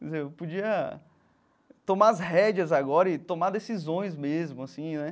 Quer dizer, eu podia tomar as rédeas agora e tomar decisões mesmo, assim, né?